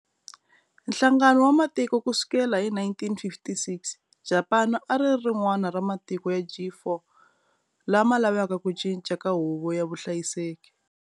Nhlangano wa Matiko ku sukela hi 1956, Japani a ri ri rin'wana ra matiko ya G4 lama lavaka ku cinca ka Huvo ya Vuhlayiseki.